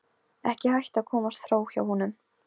Ekki hægt að komast fram hjá honum.